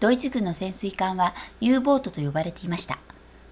ドイツ軍の潜水艦は u ボートと呼ばれていました